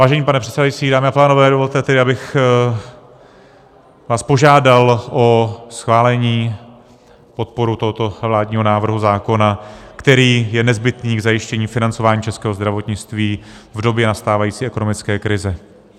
Vážený pane předsedající, dámy a pánové, dovolte tedy, abych vás požádal o schválení, podporu tohoto vládního návrhu zákona, který je nezbytný k zajištění financování českého zdravotnictví v době nastávající ekonomické krize.